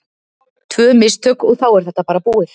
Tvö mistök og þá er þetta bara búið.